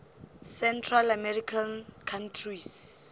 central american countries